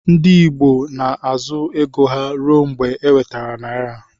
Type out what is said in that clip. Ndi igbo na azụ ego ha rụọ mgba eweter naira.